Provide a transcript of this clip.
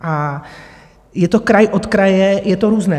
A je to kraj od kraje, je to různé.